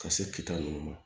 Ka se ki ta nunnu ma